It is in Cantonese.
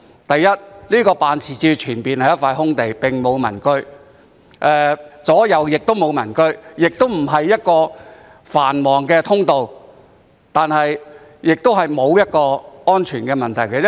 首先，該辦事處前面是一塊空地，並沒有民居，其左右亦沒有民居，有關位置也不是一個繁忙的通道或存在安全問題。